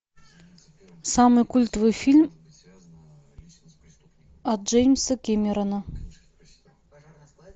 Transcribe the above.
самый культовый фильм от джеймса кэмерона